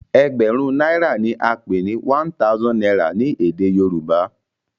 egberun naira ní a pé one thousand naira ní èdè yorùbá.